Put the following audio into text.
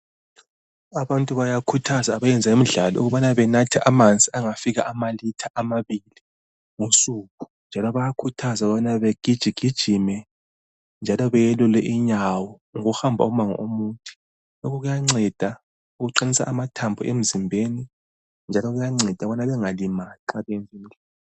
Abantu bayakhuthaza abenza imidlalo ukubana benathe amanzi angafika amalitha amabili ngosuku. Njalo bayakhuthazwa ukubana begijigijime njalo beyelule inyawo ngokuhamba umango omude. Lokhu kuyanceda ukuqinisa amathambo emzimbeni njalo kuyanceda ukubana bengalimali nxa bebu ...